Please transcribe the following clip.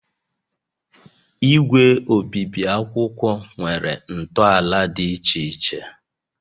Igwe obibi akwụkwọ nwere ntọala dị iche iche